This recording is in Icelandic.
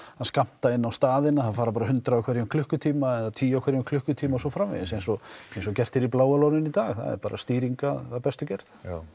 skammta inn á staðina það fara bara hundrað á hverjum klukkutíma eða tíu á hverjum klukkutíma og svo framvegis eins og eins og gert er í Bláa Lóninu í dag það er bara stýring af bestu gerð